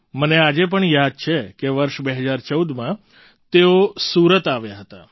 મને આજે પણ યાદ છે કે વર્ષ ૨૦૧૪માં તેઓ સુરત આવ્યા હતા